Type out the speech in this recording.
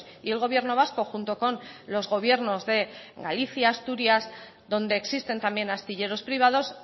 y el gobierno vasco junto con los gobiernos de galicia asturias donde existen también astilleros privados